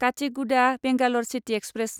Kacheguda Bangalore city express